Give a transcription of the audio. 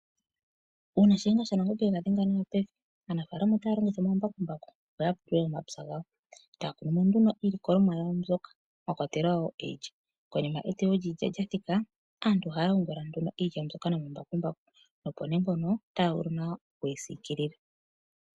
Uuna shiyenga shanangombe ega dhenga nawa pevi aanafalama ohaya longitha omambakumbaku okupulula omapya gawo, taya kunu nduno iilikolomwa yawo mbyoka mwakwatelwa iilya nokonima eteyo lyoilya lyathika aantu ohaya yungula iilya mbino nomambakumbaku nokonima otaya vulu okuyi siikilila.